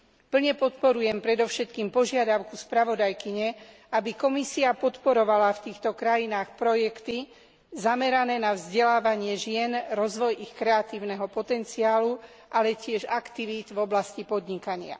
Plne podporujem predovšetkým požiadavku spravodajkyne, aby Komisia podporovala v týchto krajinách projekty zamerané na vzdelávanie žien, rozvoj ich kreatívneho potenciálu, ale tiež aktivít v oblasti podnikania.